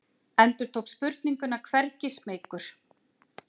Endurtók spurninguna hvergi smeykur.